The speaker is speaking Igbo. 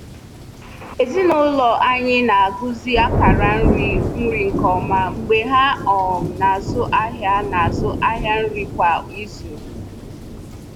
Ezinụlọ anyị na-agụzi akara nri nri nke ọma mgbe ha um na-azụ ahịa na-azụ ahịa nri kwa izu.